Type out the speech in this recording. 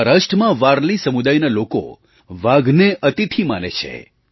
મહારાષ્ટ્રમાં વારલી સમુદાયના લોકો વાઘને અતિથિ માને છે